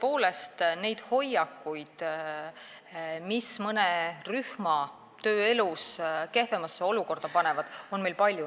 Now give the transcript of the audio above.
Tõepoolest, neid hoiakuid, mis mõne rühma tööelus kehvemasse olukorda panevad, on meil palju.